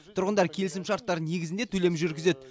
тұрғындар келісімшарттар негізінде төлем жүргізеді